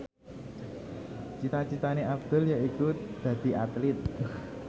cita citane Abdul yaiku dadi Atlit